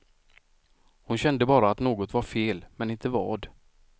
Hon kände bara att något var fel, men inte vad.